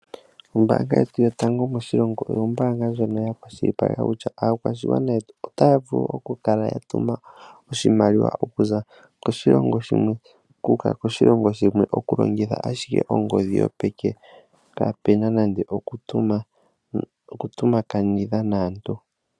Ombaanga yetu yotango moshilongo oyo ombaanga ndjono ya kwashilipaleka kutya aakwashigwana yetu otaya vulu okukala ya tuma oshimaliwa okuza koshilongo shimwe ku uka koshilongo shimwe okulongitha ashike ongodhi yopeke kaapuna nando okutompakanitha naatu.